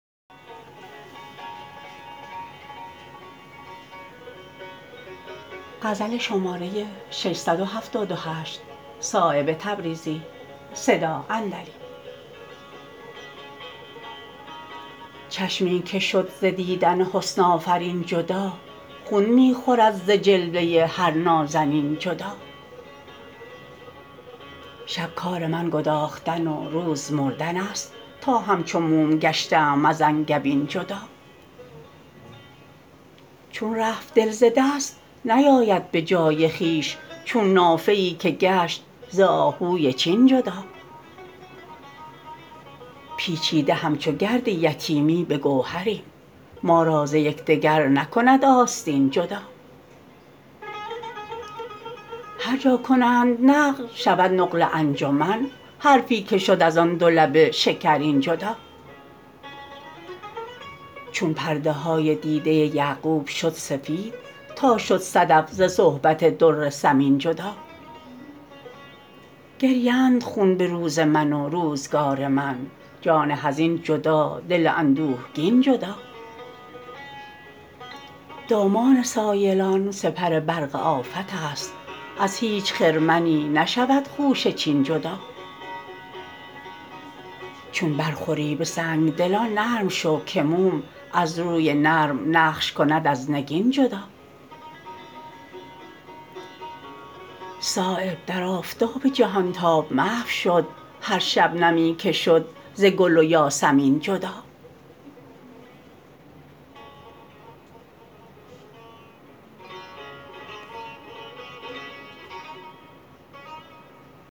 چشمی که شد ز دیدن حسن آفرین جدا خون می خورد ز جلوه هر نازنین جدا شب کار من گداختن و روز مردن است تا همچو موم گشته ام از انگبین جدا چون رفت دل ز دست نیاید به جای خویش چون نافه ای که گشت ز آهوی چین جدا پیچیده همچو گرد یتیمی به گوهریم ما را ز یکدگر نکند آستین جدا هر جا کنند نقل شود نقل انجمن حرفی که شد ازان دو لب شکرین جدا چون پرده های دیده یعقوب شد سفید تا شد صدف ز صحبت در ثمین جدا گریند خون به روز من و روزگار من جان حزین جدا دل اندوهگین جدا دامان سایلان سپر برق آفت است از هیچ خرمنی نشود خوشه چین جدا چون برخوری به سنگدلان نرم شو که موم از روی نرم نقش کند از نگین جدا صایب در آفتاب جهانتاب محو شد هر شبنمی که شد ز گل و یاسمین جدا